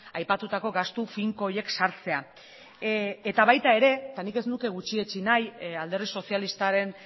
aipatutako gastu finko horiek sartzea eta baita ere eta nik ez nuke gutxietsi nahi alderdi sozialistaren